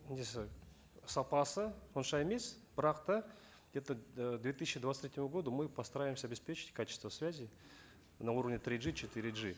несі сапасы онша емес бірақ та где то і к две тысячи двадцать третьему году мы постараемся обеспечить качество связи на уровне три джи четыре джи